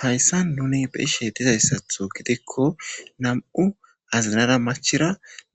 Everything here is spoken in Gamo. hayssa nuni beishe dizayssatho gidikko nam7u azinada machira